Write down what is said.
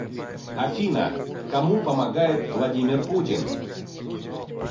афина кому помогает владимир путин